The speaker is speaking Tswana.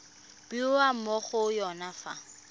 bewa mo go yone fa